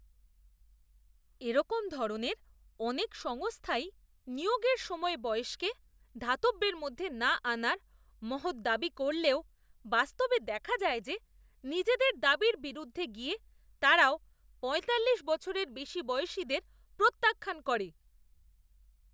এরকম ধরনের অনেক সংস্থাই নিয়োগের সময় বয়সকে ধর্তব্যের মধ্যে না আনার মহৎ দাবি করলেও বাস্তবে দেখা যায় যে নিজেদের দাবির বিরুদ্ধে গিয়ে তারাও পয়তাল্লিশ বছরের বেশি বয়সীদের প্রত্যাখ্যান করে।